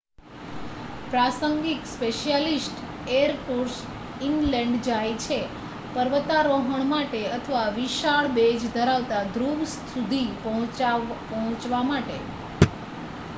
પ્રાસંગિક specialist air tours inland જાય છે પર્વતારોહણ માટે અથવા વિશાળ બેઝ ધરાવતા ધ્રુવ સુધી પહોંચવા માટે